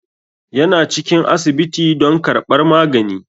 Yana cikin asibiti don karɓar magani.